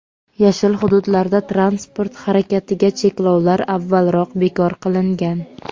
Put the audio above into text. "Yashil" hududlarda transport harakatiga cheklovlar avvalroq bekor qilingan.